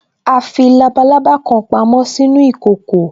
A fi labalábá kan pamo sínú ìkòkò